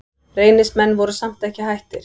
Reynismenn voru samt ekki hættir.